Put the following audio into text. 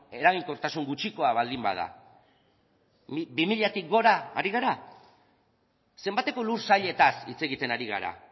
eraginkortasun gutxikoa baldin bada bi milatik gora ari gara zenbateko lursailetaz hitz egiten ari gara